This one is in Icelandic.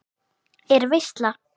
Er veisla?